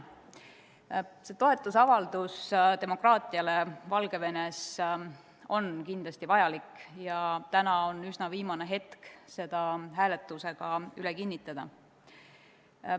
See toetusavaldus demokraatiale Valgevenes on kindlasti vajalik ja täna on üsna viimane hetk seda hääletusega kinnitada.